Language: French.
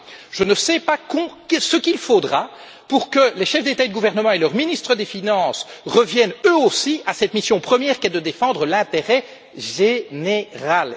Je ne sais pas ce qu'il faudra pour que les chefs d'État et de gouvernement et leur ministre des finances reviennent eux aussi à cette mission première qui est de défendre l'intérêt général.